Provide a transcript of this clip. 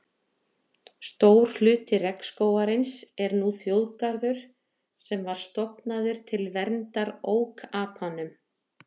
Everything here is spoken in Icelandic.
Stór hluti regnskógarins er nú þjóðgarður sem var stofnaður til verndar ókapanum.